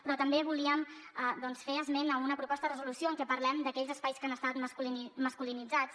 però també volíem doncs fer esment d’una proposta de resolució en què parlem d’aquells espais que han estat masculinitzats